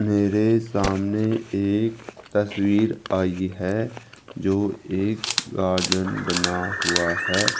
मेरे सामने एक तस्वीर आई है जो एक गार्डन बना हुआ है।